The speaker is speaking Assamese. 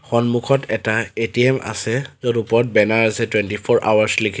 সন্মুখত এটা এ_টি_এম আছে য'ত ওপৰত বেনাৰ আছে টোৱেণ্টি ফৰ আৱাৰ্চ লিখি।